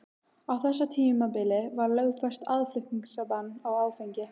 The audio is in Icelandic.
Á þessu tímabili var lögfest aðflutningsbann á áfengi.